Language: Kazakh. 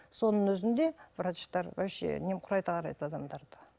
соның өзінде врачтар вообще немқұрайлы қарайды адамдарды